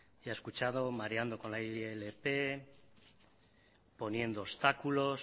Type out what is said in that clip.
y ha escuchado mareando con la ilp poniendo obstáculos